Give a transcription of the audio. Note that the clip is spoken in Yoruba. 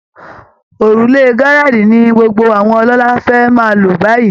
Òrùlé Gerrald ni gbogbo àwọn ọlọ́lá fẹ́ máa lò báyìí